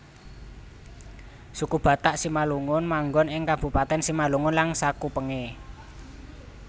Suku Batak Simalungun manggon ing Kabupatèn Simalungun lan sakupengé